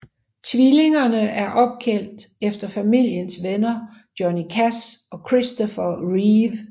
Tvillingerne er opkaldt efter familiens venner Johnny Cash og Christopher Reeve